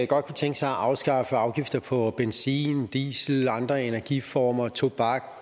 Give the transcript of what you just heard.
godt kunne tænke sig at afskaffe afgifter på benzin diesel og andre energiformer tobak